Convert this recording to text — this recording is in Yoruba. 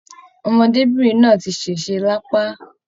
Ọmọdébinrin náà tí sese l'apa.